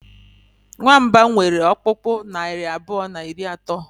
nwamba nwere ọkpụkpụ naari abụọ na iri atọ